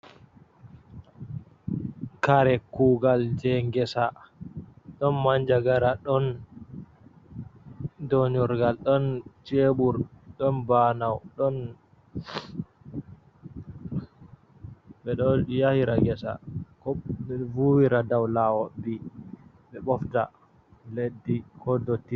Kare kuugal jey ngesa, ɗon manjagara, ɗon doonurgal, ɗon ceebur, ɗon banowo ɗon. Ɓe ɗo yahira ngesa, ko ɓe ɗo vuuwira dow laawol, ɓe ɓofta leddi ko ndotti.